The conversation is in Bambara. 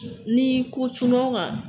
Ni ko cunaw kan